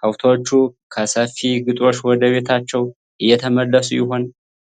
ከብቶቹ ከሰፊ ግጦሽ ወደ ቤታቸው እየተመለሱ ይሆን?